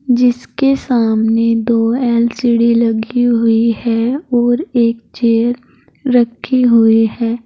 जिसके सामने दो एल_सी_डी लगी हुई है और एक चेयर रखी हुई है।